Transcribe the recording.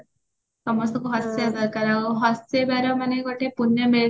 ସମସ୍ତଙ୍କୁ ହସେଇବା ଦରକାର ଆଉ ହସେଇବାର ଗୋଟେ ପୂଣ୍ୟ ମିଳିଥାଏ